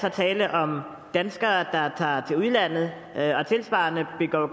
er tale om danskere der tager til udlandet og tilsvarende begår